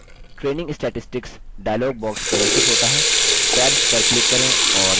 tabs पर click करें और देखें कि यह प्रत्येक क्या दर्शाते हैं